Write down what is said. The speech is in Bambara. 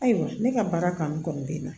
Ayiwa ne ka baara kanu kɔni bɛ n na